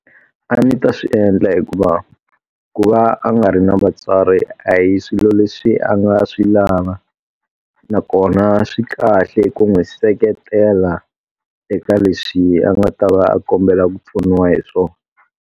A ndzi ta swi endla hikuva, ku va a nga ri na vatswari a hi swilo leswi a nga swi lava. Nakona swi kahle hi ku n'wi seketela eka leswi a nga ta va a kombela ku pfuniwa hi swona.